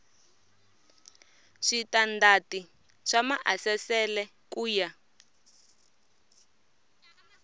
switandati swa maasesele ku ya